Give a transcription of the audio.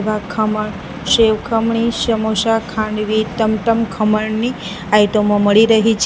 આ ખમણ સેવ ખમણી સમોસા ખાંડવી ટમટમ ખમણની આઈટમો મળી રહી છે.